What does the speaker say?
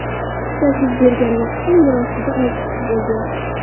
Tutash yuz bergan vaqtda yer ostida olti kishi bo‘lgan.